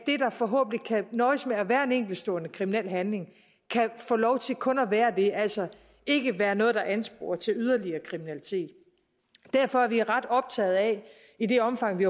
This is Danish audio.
der forhåbentlig kan nøjes med at være en enkeltstående kriminel handling kan få lov til kun at være det altså ikke være noget der ansporer til yderligere kriminalitet derfor er vi ret optagede af i det omfang vi